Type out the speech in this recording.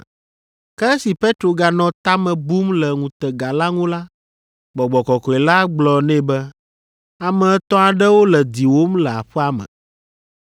Ke esi Petro ganɔ ta me bum le ŋutega la ŋu la, Gbɔgbɔ Kɔkɔe la gblɔ nɛ be, “Ame etɔ̃ aɖewo le diwòm le aƒea me,